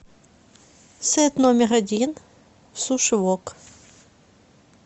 сет номер один суши вок